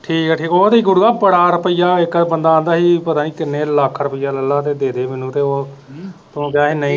ਠੀਕ ਠੀਕ ਆ ਉਹ ਤੇ ਗੁਰੂਆਂ ਬੜਾ ਰੁਪਈਆ ਇੱਕ ਵਾਰ ਬੰਦਾ ਆਂਦਾ ਹੀ ਪਤਾ ਨਹੀਂ ਕਿਨ੍ਹੇ ਲੱਖ ਰੁਪਈਏ ਲੇਲਾ ਤੇ ਦੇ ਦੇ ਮੈਨੂੰ ਤੇ ਉਹ ਤੂੰ ਕਿਹਾ ਹੀ